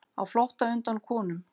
Á flótta undan konum